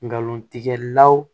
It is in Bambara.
Nkalon tigɛ law